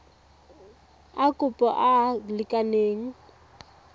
a kopo a a lekaneng